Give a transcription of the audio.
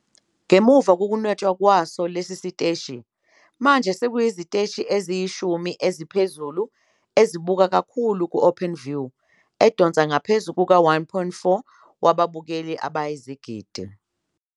Ngemuva kokunwetshwa kwaso, lesi siteshi manje sesiyiziteshi eziyi-10 eziphezulu ezibukwe kakhulu ku-Openview edonsa ngaphezu kuka-1.4. ababukeli abayizigidi.